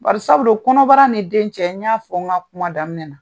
Bari sabu don kɔnɔbara ni den cɛ ,n y'a fɔ n ka kuma daminɛ na.